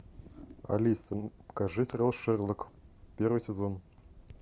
алиса покажи сериал шерлок первый сезон